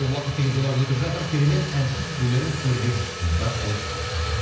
уакыт деген зулап өтіп жатыр керемет әншісіз өнеріңіз өрге жүзсін дейді рахмет сізге